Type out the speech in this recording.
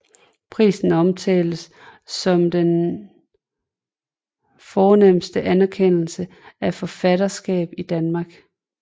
Prisen omtales som den fornemste anerkendelse af et forfatterskab i Danmark